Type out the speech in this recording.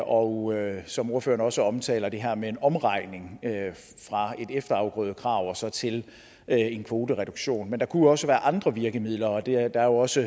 og som ordføreren også omtaler er der det her med en omregning fra et efterafgrødekrav og så til en kvotereduktion men det kunne også være andre virkemidler og der er også